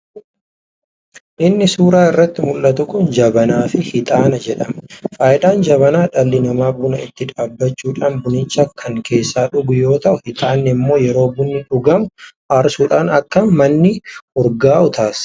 Inni suuraa irratti muldhatu kun jabanaa fi hixaana jedhama. Fayidaan jabanaa dhalli namaa buna itti dhaabachuudhaan bunicha kan keessaa dhugu yoo ta'u hiixaanni immoo yeroo bunni dhugamu aarsuudhaan akka manni urgaawu taasisa.